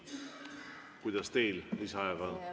Kuidas teil lisaajaga on?